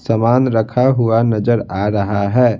सामान रखा हुआ नजर आ रहा है।